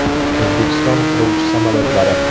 O‘zbekiston qiruvchi samolyotlari.